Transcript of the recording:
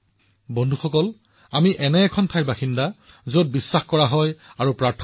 বন্ধুসকল আমি দেশৰ লোক যিসকলে বিশ্বাস কৰে আৰু প্ৰাৰ্থনা কৰে